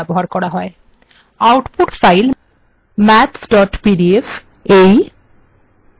output file mathspdf PDF ব্রাউজারে আছে